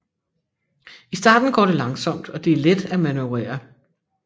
I starten går det langsomt og det er let at manøvrere